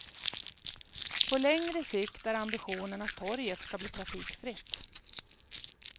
På längre sikt är ambitionen att torget ska bli trafikfritt.